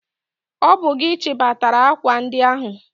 Ọ bụ gị chịbatara akwa ndi ahụ!